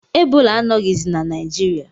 Ebola anọghizi na Naijiriia